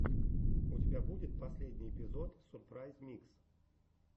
у тебя будет последний эпизод сурпрайз микс